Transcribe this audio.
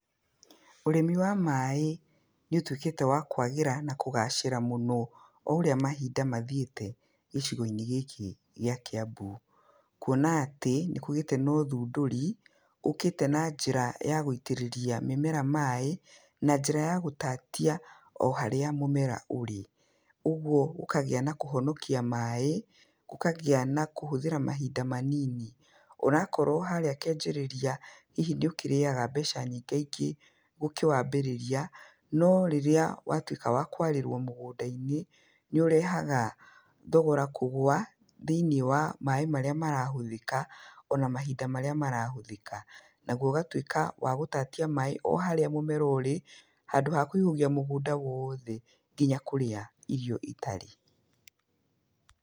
Ũrĩmi wa maaĩ nĩ ũtuĩkĩte wa kũagĩra na kũgacĩra mũno o ũrĩa maũndũ mathiĩte gĩcigo-inĩ gĩkĩ gĩa Kĩambu, kwona atĩ, nĩkũgĩte na ũthũndũri, ũkĩte na njĩra ya gũitĩrĩria mĩmera maaĩ, na njĩra ya gũtatia o harĩa mũmera ũrĩ, ũguo ũkagĩa na kũhonokia maaĩ, ũkagĩa na kũhũthĩra mahinda manini, onakorwo harĩa kĩambĩrĩria hihi nĩ ũkĩrĩaga mbeca nyingĩ ũkĩwambĩrĩria, no rĩrĩa watuĩka wa kwarĩrwo mũgũnda-inĩ, nĩ ũrehaga thogora kũgũa thĩinĩ wa maaĩ marĩa marahũthĩka, ona mahinda marĩa marahũthĩka. Naguo ũgatuĩka wa gũtatia maaĩ o harĩa mũmera ũrĩ, handũ wa kũihũgia mũgũnda wothe nginya kũrĩa irio itarĩ.